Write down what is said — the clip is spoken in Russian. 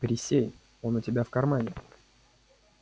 присей она у тебя в кармане